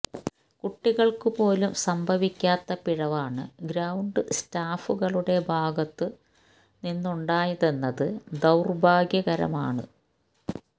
കുട്ടികള്ക്കു പോലും സംഭവിക്കാത്ത പിഴവാണ് ഗ്രൌണ്ട് സ്റ്റാഫുകളുടെ ഭാഗത്തു നിന്നുണ്ടായതെന്നത് ദൌര്ഭാഗ്യകരമാണ്